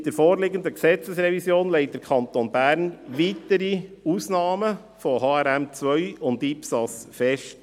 Mit der vorliegenden Gesetzesrevision legt der Kanton Bern weitere Ausnahmen von HRM2 und IPSAS fest.